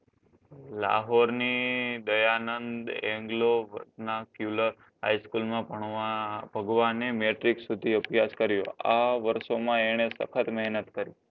લાહોરની Dayanand englovkyular haigh school ભણવા ભગવાને મેટ્રિક્સ સુધી અભ્યાશ કર્યો. આ વર્ષોમાં એણે સખત મેહનત કરી